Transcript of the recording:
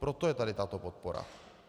Proto je tady tato podpora.